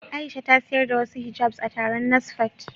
Aisha ta sayar da wasu hijabs a taron NASFAT.